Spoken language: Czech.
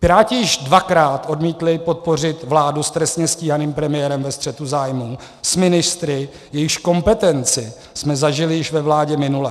Piráti již dvakrát odmítli podpořit vládu s trestně stíhaným premiérem ve střetu zájmů s ministry, jejichž kompetenci jsme zažili již ve vládě minulé.